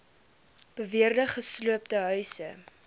beweerde gesloopte huise